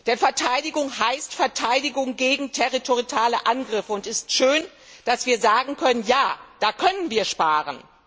Denn Verteidigung heißt Verteidigung gegen territoriale Angriffe, und es ist schön, dass wir sagen können Ja, da können wir sparen.